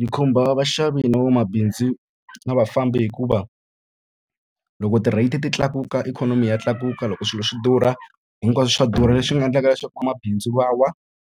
Yi khumba vaxavi na vamabindzu na vafambi hikuva, loko ti-rate-i ti tlakuka ikhonomi ya tlakuka, loko swilo swi durha hinkwaswo swa durha. Leswi nga endlaka leswaku vamabindzu va wa,